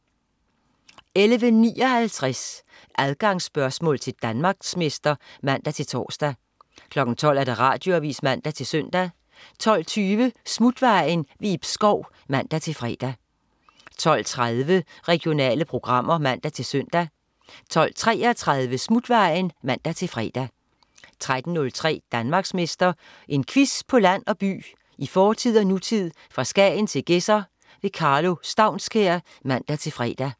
11.59 Adgangsspørgsmål til Danmarksmester (man-tors) 12.00 Radioavis (man-søn) 12.20 Smutvejen. Ib Schou (man-fre) 12.30 Regionale programmer (man-søn) 12.33 Smutvejen (man-fre) 13.03 Danmarksmester. En quiz på land og by, i fortid og nutid, fra Skagen til Gedser. Karlo Staunskær (man-fre)